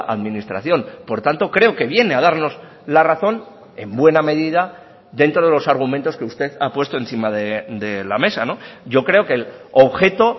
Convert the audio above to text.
administración por tanto creo que viene a darnos la razón en buena medida dentro de los argumentos que usted ha puesto encima de la mesa yo creo que el objeto